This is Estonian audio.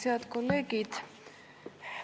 Head kolleegid!